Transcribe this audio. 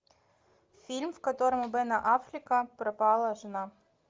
фильм в котором у бена аффлека пропала жена